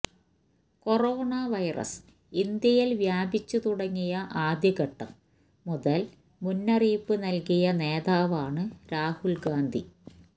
corona virus ഇന്ത്യയില് വ്യാപിച്ചു തുടങ്ങിയ ആദ്യഘട്ടം മുതല് മുന്നറിയിപ്പ് നല്കിയ നേതാവാണ് രാഹുല് ഗാന്ധി